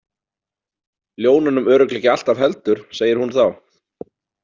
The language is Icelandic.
Ljónunum örugglega ekki alltaf heldur, segir hún þá.